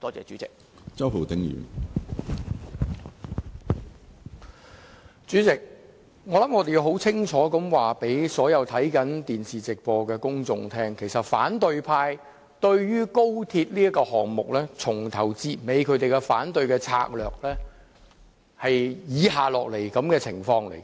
主席，我想我們要清楚告訴所有看着電視直播的公眾，其實對於高鐵這項目，反對派由始至終的反對策略是這樣的。